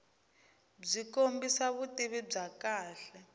byi kombisa vutivi bya kahle